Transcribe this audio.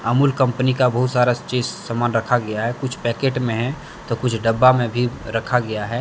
Amul company का बहुत सारा चीज सामान रखा गया है कुछ पैकेट में है तो कुछ डब्बा में भी रखा गया है।